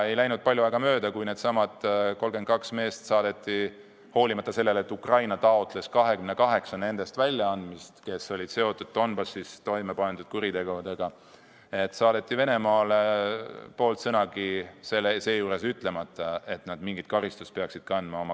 Ei läinud palju aega mööda, kui needsamad 32 meest saadeti – hoolimata sellest, et Ukraina taotles nendest 28 väljaandmist, sest nad olid seotud Donbassis toime pandud kuritegudega – Venemaale, ütlemata poolt sõnagi, et nad peaksid oma kavatsuste tõttu mingit karistust kandma.